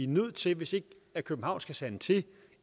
nødt til hvis ikke københavn skal sande til